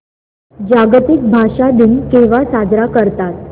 जागतिक भाषा दिन केव्हा साजरा करतात